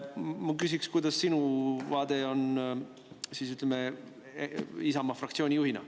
Ma küsin, milline on sinu vaade Isamaa fraktsiooni juhina.